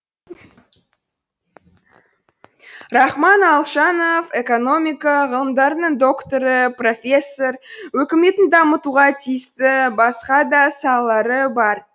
рахман алшанов экономика ғылымдарының докторы профессор өкіметтің дамытуға тиісті басқа да салалары бар